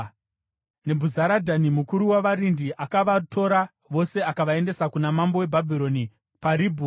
Nebhuzaradhani mukuru wavarindi akavatora vose akavaendesa kuna mambo weBhabhironi paRibhura.